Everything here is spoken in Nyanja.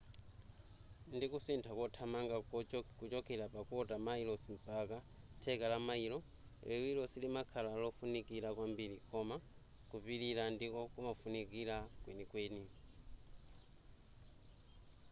ndikusintha kothamanga kuchokera pa kota mayilosi mpaka theka la mayilo liwiro silimakhala lofunikira kwambiri koma kupilira ndiko kumafunika kwenikweni